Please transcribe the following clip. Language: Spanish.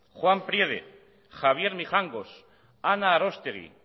juan priede javier mijangos ana arostegui